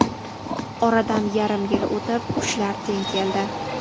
Oradan yarim yil o‘tib, kuchlar teng keldi.